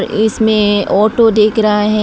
इसमें ऑटो दिख रहा है।